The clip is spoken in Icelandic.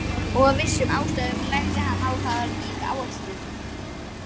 Og af vissum ástæðum legði hann á það ríka áherslu.